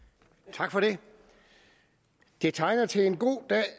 tak for det det tegner til en god dag